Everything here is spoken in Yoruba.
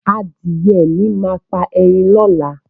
Adìyẹ mi máa pa ẹyin lọ́la